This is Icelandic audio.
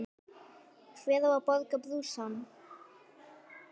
Hver á að borga brúsann?